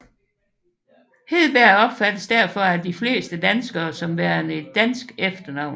Hedberg opfattes derfor at de fleste danskere som værende et dansk efternavn